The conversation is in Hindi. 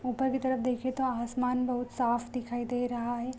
ऊपर की तरफ देखिये तो आसमान बहुत साफ़ दिखाई दे रहा है।